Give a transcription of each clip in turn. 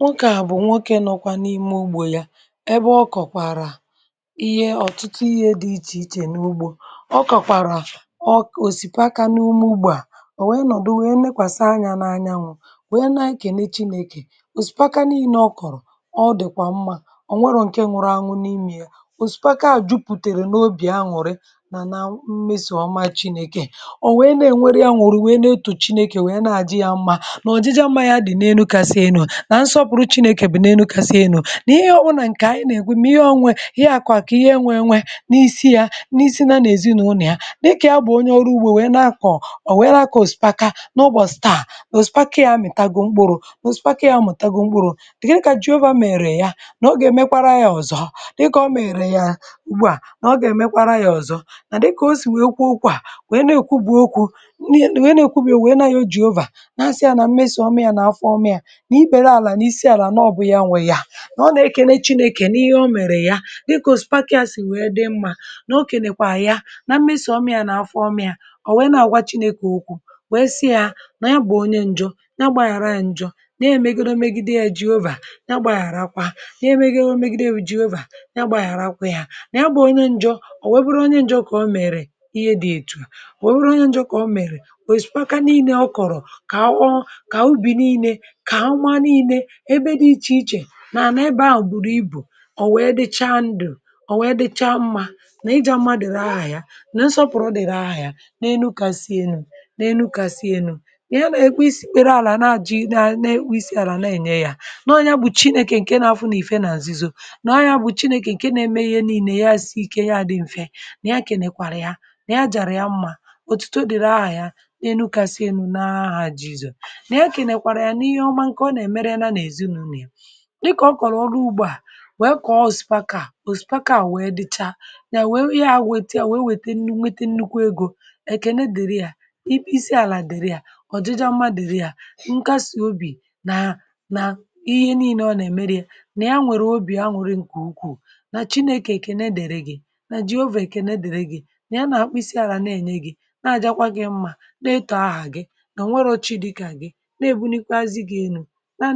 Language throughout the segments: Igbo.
nwokė à bụ̀ nwokė nọkwa n’ime ugbȯ ya ebe ọ kọ̀kwàrà ihe ọ̀tụtụ ihe dị ichè ichè n’ugbȯ ọ kọ̀kwàrà ọ k, òsìpaka n’umu ugbȯ à ọ̀ nwèe nọ̀dụ wèe nekwàsa anyȧ n’anya nwu̇ wèe nà nkènechi nekè òsìpaka n’ime ọ kọ̀rọ̀ ọ dị̀kwà mmȧ ọ̀ nwere ǹke nwụrụ anwụ̇ n’imė ya òsìpaka jupùtèrè n’obì anwụ̀rị nà na mmesòghọma chinėkè ọ̀ nwèe nà-ènwere ya nwùrù nwèe nà-etù chinėkè wèe nà-ajị ya mmȧ nà ọ̀ jịjà mmȧ ya dị̀ na-enukasi enu̇ nà ihe ọbụ̇nà ǹkè ànyị nà-èkwe mà ihe ọȧnwė ihe àkụ̀ àkụ̀ ihe ẹ nwẹ̇ enwẹ n’isi ya n’isi na n’ezinúlù ya n’ịke ya bụ̀ onye ọrụ ugbȯ wee nakọ̀ ò wee nakọ̀ òsìpaka n’ụbọ̀ staà òsìpaka ya mị̀tago mkpụrụ òsìpaka ya mụ̀ tagoo mkpụrụ̇ dị̀ kà jiovȧ mèrè ya nà ogè èmekwara yȧ ọ̀zọ dịkà ọ mèrè ya ugbȯ à nà ogè èmekwara yȧ ọ̀zọ nà dịkà o sì nwèe okwu okwu à nwèe na-èkwu bu okwu̇ nà ọ e nà-èkwu bìe nwèe na ya jiovȧ nàsịa nà mmesì ọmịȧ nà afọ ọmịȧ nọ̀ nà èkèle chinėkè n’ihe ọ mèrè ya dịkà òsùpakȧ sì wèe dị mmȧ n’okè nèkwà ya na mmesì ọm yȧ n’afọ ọmị̇ȧ ọ̀ wèe na àgwa chinėkè ukwù wèe sị yȧ nọ̀ ya bụ̀ onye njọọ̇ na-agbàghàra ya njọọ̇ na-èmègide ya jiovà na-agbàghàrakwa, nye megide ya o megide bụ jiovà na-agbàghàrakwa yȧ na-agbà onye njọọ̇ ọ̀ wẹbụrụ onye njọọ̇ kà ọ mèrè ihe dị ètù wèe rụọ onye njọọ̇ kà ọ mèrè wèe sị̀kaka nine ọ kọ̀rọ̀ kà àwọ kà ubì nine ebe dị ichè ichè nà n’ebe ahụ̀ bụrụ ibù ò wèe dịcha ndụ̀ ò wèe dịcha mmȧ nà ịjȧ mmadụ̀ rahahìa nà nsọpụ̀rụ̀ dị̀ rahahìa n’enu̇kàsị enu̇ n’enu̇kàsị enu̇ ihe na-ekwe isi̇ kwere alà na-ajị na na-ekwe isi̇ alà na-ènye yȧ n’ọya bùchi neke ǹke na-afụ nà ìfe nà àzịzo n’ọya bùchi neke ǹke na-eme ihe nii̇nè ya si̇ike ya dị m̀fe nà ihe akènèkwàrà ya nà ya jàrà ya mmȧ òtùto dị̀ rahahìa n’enu̇kàsị enu̇ naa ha jizò nà ihe akènèkwàrà ya n’ihe ọma ǹkè ọ nà-èmere ya na èzina nịkà ọ kọrọ ọrụ ugbo a wee kọọ osipaka o osipaka a wee dịcha nya wee ya weta wee wete nnukwu ego eke na dịrị ya isi ala dịrị ya ọjịjịa mmadụ ya nke asị obi na na ihe niine ọ na-emerị ya na ya nwere obi a nwere nke ukwuu na chinėke eke na-edere gị na jiovė eke na-edere gị na ya na-akpịsị ara na-enye gị na-ajakwa gị mmȧ na-etọ ahụ agị na nwerochi dịka gị na-ebunikwazị ga-enu nà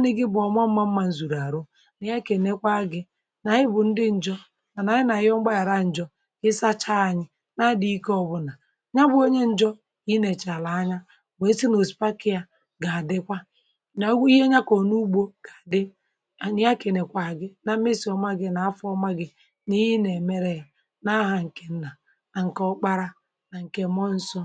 ihe kà ènekwa agị̇ nà ị bụ̀ ndị ǹjọ̀ mànà anyị nà ihe ọgbaghà raǹjọ̀ ịsacha anyị na adị̇ ike ọ̇bụ̇nà nyabụ̇ onye ǹjọ̇ nà i nèchàrà anya wèe sị nà osipaka ya gà àdịkwa nà ọgwụ̇ ihe nyakọ̀ ọ̀ n’ugbȯ dị ànyị ya kà ènekwa gị na mmesi̇ ọma gị̇ nà afọ̇ ọma gị̇ nà i nè mere n’ahȧ ǹkè nà ànkị ọkpara ǹkè mo nso